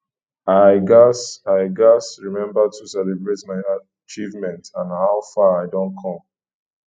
i gats i gats remember to celebrate my achievements and how far i don come